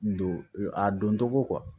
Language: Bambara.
Don a don tɔgɔ